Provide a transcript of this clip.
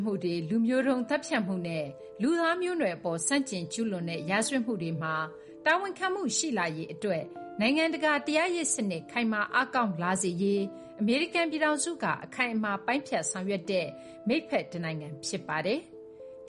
မှုတွေ၊ လူမျိုးသုဥ်းသတ်ဖြတ်မှုနဲ့ လူသားမျိုးနွယ်အပေါ် ဆန့်ကျင်ကျူးလွန်တဲ့ ရာဇဝတ်မှုတွေမှာ တာဝန်ခံမှုရှိလာရေးအတွက် နိုင်ငံတကာ တရားရေးစနစ် ခိုင်မာအားကောင်းစေရေးမှာ အမေရိကန်ပြည်ထောင်စုက အခိုင်အမာ ပိုင်းဖြတ်ဆောင်ရွက်တဲ့ မိတ်ဖက်တနိုင်ငံဖြစ်ပါတယ်။